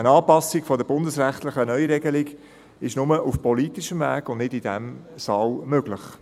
Eine Anpassung der bundesrechtlichen Neuregelung ist nur auf politischem Weg und nicht in diesem Saal möglich.